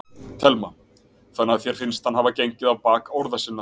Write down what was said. Telma: Þannig að þér finnst að hann hafi gengið á bak orða sinna?